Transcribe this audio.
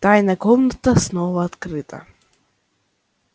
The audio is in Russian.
тайная комната снова открыта